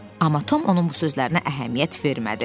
Amma Tom onun bu sözlərinə əhəmiyyət vermədi.